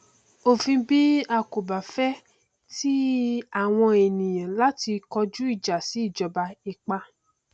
òfin bí a kò bá fẹ ti àwọn ènìyàn láti kọjú ìjà sí ìjọba ipá